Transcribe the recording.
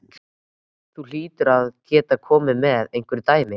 Þú hlýtur að geta komið með einhver dæmi?